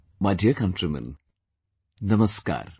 My dear countrymen, Namaskar